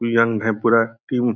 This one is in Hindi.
यंग है पूरा टीम ।